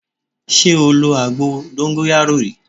Ṣé o lo àgbo dóńgóyárò rí?